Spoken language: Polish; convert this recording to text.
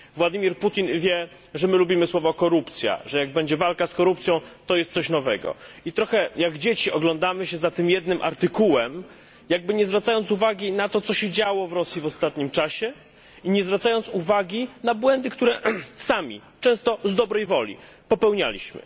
Władimir Putin wie, że my lubimy słowo korupcja, że jak będzie walka z korupcją, to jest coś nowego. Trochę jak dzieci oglądamy się za tym jednym artykułem, jakby nie zwracając uwagi na to, co się działo w Rosji w ostatnim czasie i nie zwracając uwagi na błędy, które sami, często z dobrej woli, popełnialiśmy.